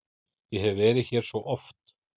Ég hef verið hér svo oft.